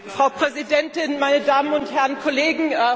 Frau Präsidentin, meine Damen und Herren Kollegen!